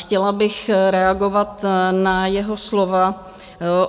Chtěla bych reagovat na jeho slova